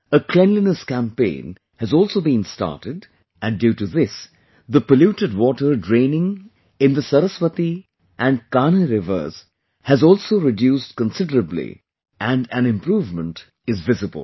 A Cleanliness campaign has also been started and due to this the polluted water draining in the Saraswati and Kanh rivers has also reduced considerably and an improvement is visible